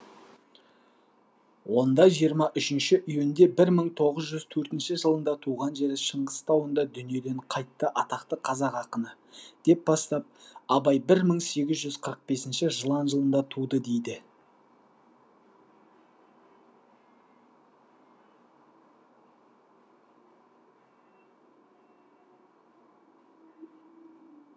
онда жиырма үшінші июньде бір мың тоғыз жүз төртінші жылында туған жері шыңғыс тауында дүниеден қайтты атақты қазақ ақыны деп бастап абай бір мың сегіз жүз қырық бесінші жылан жылында туды дейді